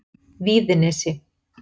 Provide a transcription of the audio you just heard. Víðinesi